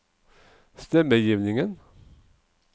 stemmegivningen